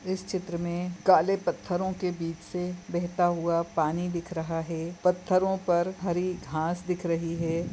इस चित्र मे काले पत्थरों के बीच से बहता हुआ पानी दिख रहा है पत्थरों पर हरी घास दिख रही है।